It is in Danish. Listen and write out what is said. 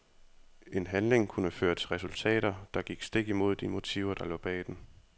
En handling kunne føre til resultater, der gik stik imod de motiver der lå bag den.